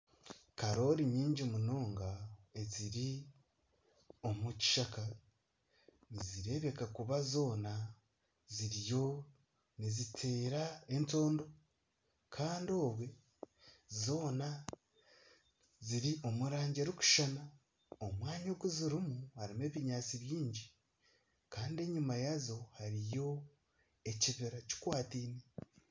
Karoori nyingi munonga eziri omu kishaka, nizireebeka kuba zoona ziriyo niteera entondo kandi obwo zoona ziri omu rangi erikushushana, omwanya ogu zirimu harimu ebinyaatsi bingi kandi enyima yaazo hariyo ekibira kikwataine